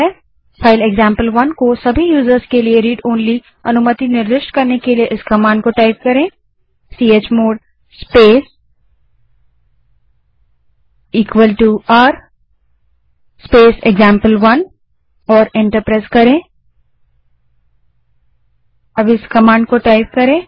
file example one को सभी के लिए read ओनली अनुमति निर्दिष्ट करने के लिए इस command chmod space r space example one को टाइप करें और एंटर दबायें